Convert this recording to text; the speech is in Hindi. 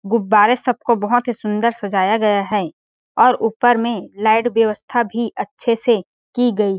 गुब्बारे सब को बहुत ही सुन्दर सजाया गया है और ऊपर में लाइट व्यवस्था भी अच्छे से की गई --